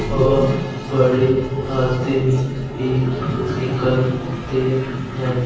और बड़े आदमी भी निकलते हैं।